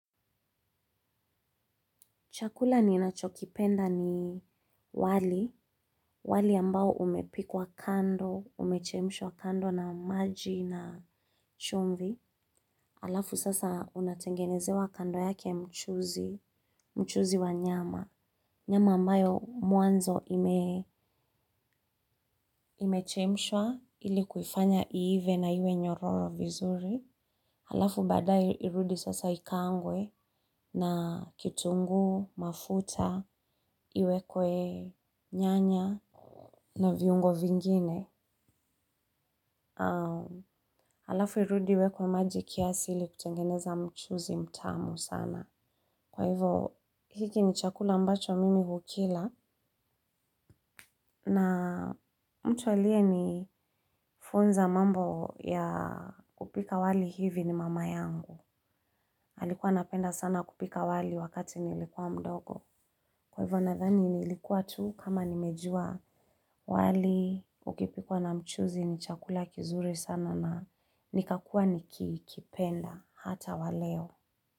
Chakula ninachokipenda ni wali, wali ambao umepikwa kando, umechemshwa kando na maji na chumvi. Halafu sasa unatengenezewa kando yake mchuzi wa nyama. Nyama ambayo mwanzo ime imechemshwa ili kuifanya iive na iwe nyororo vizuri. Halafu baadaye irudi sasa ikaangwe na kitungu, mafuta, iwekwe nyanya na viungo vingine. Halafu irudi iwekwe maji kiasi ili kutengeneza mchuzi mtamu sana. Kwa hivyo hiki ni chakula ambacho mimi hukila. Na mtu aliye ni funza mambo ya kupika wali hivi ni mama yangu. Alikuwa anapenda sana kupika wali wakati nilikuwa mdogo. Kwa hivyo nadhani nilikuwa tu kama nimejua wali ukipikwa na mchuzi ni chakula kizuri sana na nikakua nikipenda hata wa leo.